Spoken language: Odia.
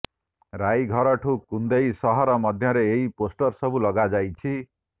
ରାଇଘରଠୁ କୁନ୍ଦେଇ ସହର ମଧ୍ୟରେ ଏହି ପୋଷ୍ଟର ସବୁ ଲଗାଯାଇଛି